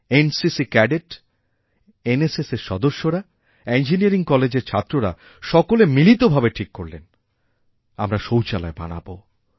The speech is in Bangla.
এনসিসি ক্যাডেট এনএসএসএর সদস্যরা ইঞ্জিনিয়ারিং কলেজেরছাত্ররা সকলে মিলিতভাবে ঠিক করলেন আমরা শৌচালয় বানাবো